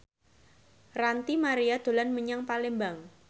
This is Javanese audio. Ranty Maria dolan menyang Palembang